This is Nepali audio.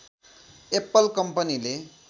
एप्पल कम्पनीले